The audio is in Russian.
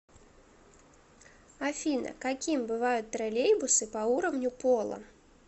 афина каким бывают троллейбусы по уровню пола